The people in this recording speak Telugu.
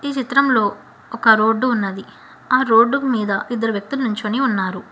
ఈ చిత్రంలో ఒక రోడ్డు ఉన్నది ఆ రోడ్డు మీద ఇద్దరు వ్యక్తులు నుంచొని ఉన్నారు.